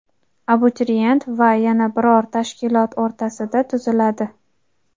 abituriyent va yana biror tashkilot o‘rtasida tuziladi.